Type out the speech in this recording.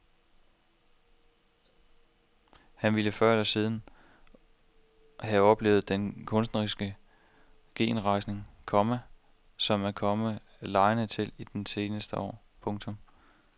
Han ville før eller siden havde oplevet den kunstneriske genrejsning, komma som er kommet legenden til del i de seneste år. punktum